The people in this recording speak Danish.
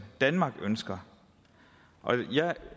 danmark ønsker jeg